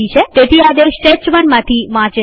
તેથી આદેશ test1માંથી વાંચે છે